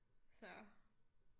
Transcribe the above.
Så